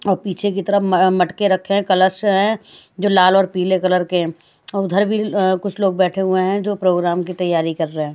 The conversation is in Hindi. और पीछे की तरफ मटके रखे हैं कलश हैं जो लाल और पीले कलर के हैं और उधर भी कुछ लोग बैठे हुए हैं जो प्रोग्राम की तैयारी कर रहे हैं।